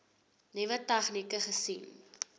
nuwe tegnieke gesien